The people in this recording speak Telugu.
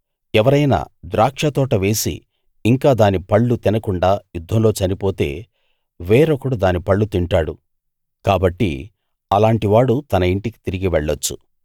ఎవరైనా ద్రాక్షతోట వేసి ఇంకా దాని పళ్ళు తినకుండా యుద్ధంలో చనిపోతే వేరొకడు దాని పళ్ళు తింటాడు కాబట్టి అలాంటివాడు తన ఇంటికి తిరిగి వెళ్ళొచ్చు